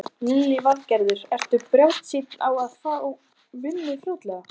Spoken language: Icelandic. Lillý Valgerður: Ertu bjartsýnn á að fá vinnu fljótlega?